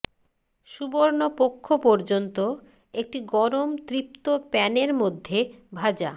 সুবর্ণ পক্ষ পর্যন্ত একটি গরম তৃপ্ত প্যানের মধ্যে ভাজা